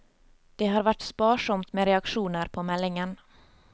Det har vært sparsomt med reaksjoner på meldingen.